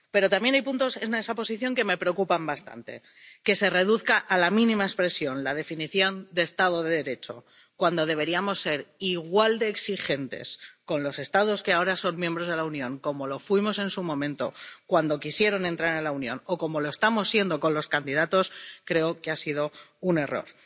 Pero también hay puntos en esa posición que me preocupan bastante que se reduzca a la mínima expresión la definición de Estado de Derecho, cuando deberíamos ser igual de exigentes con los Estados que ahora son miembros de la Unión como lo fuimos en su momento, cuando quisieron entrar en la Unión, o como lo estamos siendo con los candidatos, creo que ha sido un error.